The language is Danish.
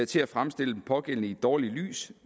til at fremstille den pågældende i et dårligt lys